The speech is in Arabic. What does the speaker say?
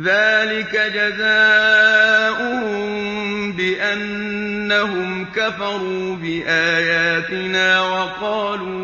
ذَٰلِكَ جَزَاؤُهُم بِأَنَّهُمْ كَفَرُوا بِآيَاتِنَا وَقَالُوا